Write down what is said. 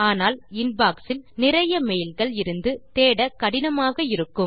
ஆனால் இன்பாக்ஸ் இல் நிறைய மெயில் கள் இருந்து தேட கடினமாக இருக்கும்